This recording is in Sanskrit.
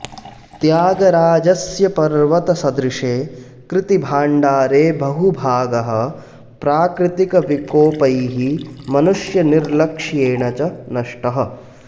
त्यागराजस्य पर्वतसदृशे कृतिभाण्डारे बहुभागः प्राकृतिकविकोपैः मनुष्यनिर्लक्ष्येण च नष्टः